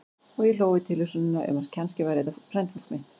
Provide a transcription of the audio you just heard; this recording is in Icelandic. Og ég hló við tilhugsunina um að kannski væri þetta frændfólk mitt.